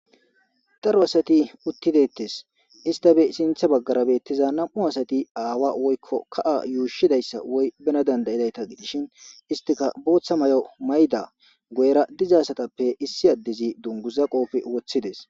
Daro asat uti detes , issitappe sinthe bagara betiza 2 asat awa woyko ka's yushidaysa woy bena danda'idayta gidishn istika Bootha mayo mayida ,guyera diza asatappe issi adez dunguza qope wothides.